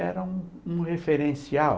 Era um um referencial